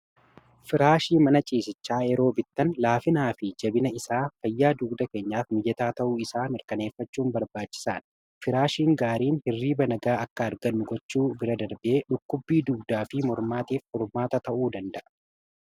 firaashii mana ciisichaa yeroo bittan laafinaa fi jabina isaa fayyaa dugda keenyaaf miyyataa ta'uu isaa mirkaneeffachuun barbaachisaan firaashiin gaariin hirrii banagaa akka argannu gochuu bira darbee dhukkubbii duudaa fi mormaatiif formaata ta'uu danda'a